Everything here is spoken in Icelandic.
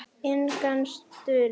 Inga systir.